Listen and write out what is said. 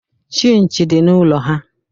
Chinchi dị n'ụlọ ha